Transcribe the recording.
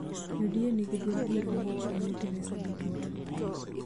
UDA nigi duond bura ma ochung'ne Teresa Bitutu,